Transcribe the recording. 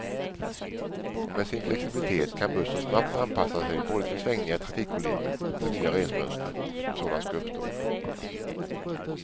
Och med sin flexibilitet kan bussen snabbt anpassa sig både till svängningar i trafikvolymen och till nya resmönster, om sådana skulle uppstå.